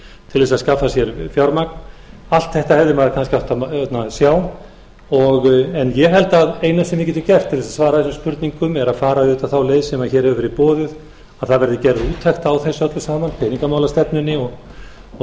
til þess að skapa sér fjármagn allt þetta hefði maður kannski átt að sjá en ég held að það eina sem við getum gert til þess að svara þessum spurningum er að fara auðvitað þá leið sem hér hefur verið boðuð að það verði gerð úttekt á þessu öllu saman peningamálastefnunni og